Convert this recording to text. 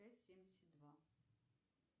пять семьдесят два